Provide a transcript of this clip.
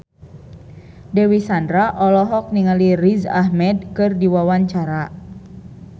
Dewi Sandra olohok ningali Riz Ahmed keur diwawancara